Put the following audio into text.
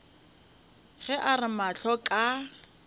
ge a re mahlo ka